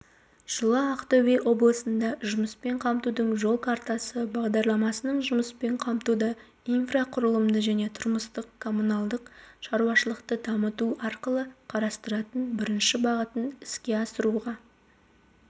жылы ақтөбе облысында жұмыспен қамтудың жол картасы бағдарламасының жұмыспен қамтуды инфрақұрылымды және тұрмыстық-коммуналдық шаруашылықты дамыту арқылы қарастыратын бірінші бағытын іске асыруға